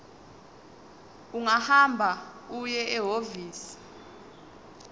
ungahamba uye ehhovisi